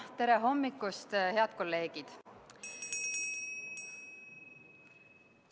Tere hommikust, head kolleegid!